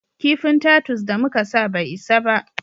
Kifin tatus da muka sa bai isa ba